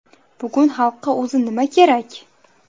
Bugun xalqqa o‘zi nima kerak?